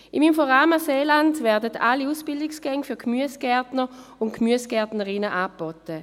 Im Inforama Seeland werden alle Ausbildungsgänge für Gemüsegärtner und Gemüsegärtnerinnen angeboten.